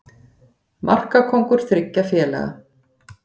Markakóngur þriggja félaga